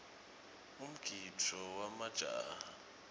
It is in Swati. umgidvo wemajaha